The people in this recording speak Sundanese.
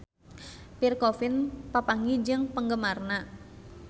Pierre Coffin papanggih jeung penggemarna